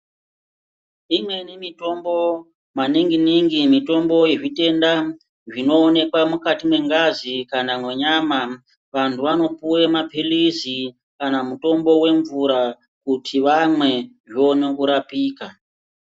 Imweni mitombo, maningi-ningi mitombo yezvitenda zvinoonekwa mukati mengazi kana menyama, vantu vanopuwe maphirizi kana mutombo wemvura kuti vamwe zvoona kurapika.